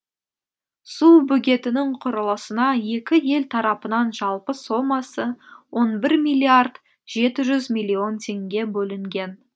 су бөгетінің құрылысына екі ел тарапынан жалпы сомасы он бір миллиард жеті жүз миллион теңге бөлінген